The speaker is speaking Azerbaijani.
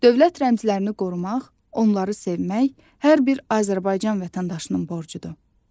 Dövlət rəmzlərini qorumaq, onları sevmək hər bir Azərbaycan vətəndaşının borcudur.